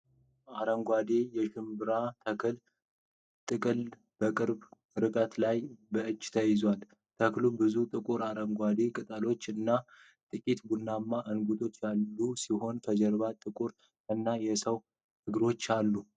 አረንጓዴ የሽምብራ ተክል ጥቅል በቅርብ ርቀት ላይ በእጅ ተይዟል። ተክሉ ብዙ ጥቁር አረንጓዴ ቅጠሎች እና ጥቂት ቡናማ እንቡጦች ያሉት ሲሆን፣ ከጀርባ ጥቁር እና የሰዎች እግሮች አሉ።